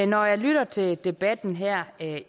når jeg lytter til debatten her